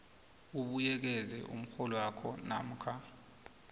ubuyekeze umrholwakho namkha